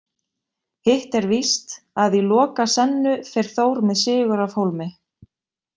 Hitt er víst að í Lokasennu fer Þór með sigur af hólmi.